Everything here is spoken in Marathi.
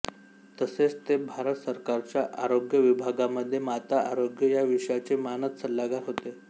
तसेच ते भारत सरकारच्या आरोग्य विभागामध्ये माता आरोग्य या विषयाचे मानद सल्लागार होते